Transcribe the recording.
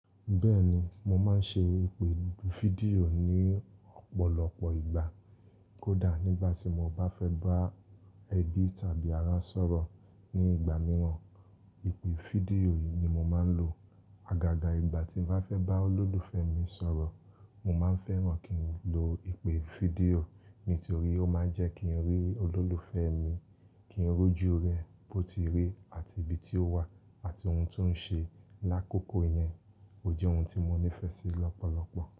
Bẹ́ẹ̀ni, mo máa ń ṣe ìpè fídíò ní ọ̀pọ̀lọpọ̀ ìgbà. Kódà nígbà tí mo bá fẹ́ bá ẹbí tàbí ará sọ̀rọ̀ ní ìgbà mìíràn, ìpè fídíò yìí ni mo máa ń lò. Agaga ìgbà tí mo bá fẹ́ bá olólùfẹ́ mi sọ̀rọ̀, mo máa ń fẹ́ràn kí n lo ìpè fídíò. Nítorí ó máa ń jẹ́ kí n rí olólùfẹ́ mi, kí n rí ojú rẹ̀ bó ti rí àti ibi tí ó wà àti ohun tó ń ṣe. Lákokò yẹn ò jẹ́ ohun tí mo nífẹ̀ẹ́ sí lọ́pọ̀lọpọ̀.